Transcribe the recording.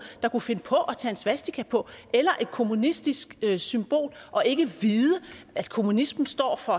der kunne finde på at tage en svastika på eller et kommunistisk symbol og ikke vide at kommunismen står for